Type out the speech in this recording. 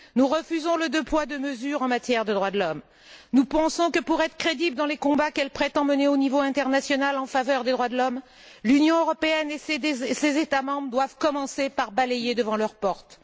Nous refusons le deux poids, deux mesures en matière de droits de l'homme. Nous pensons que pour être crédibles dans les combats qu'ils prétendent mener au niveau international en faveur des droits de l'homme, l'Union européenne et ses États membres doivent commencer par balayer devant leur porte.